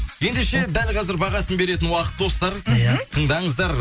ендеше дәл қазір бағасын беретін уақыт достар мхм тыңдаңыздар